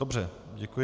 Dobře, děkuji.